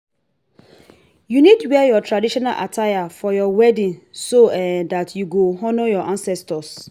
you need wear your traditional attire for your wedding so um that you go honour your ancestors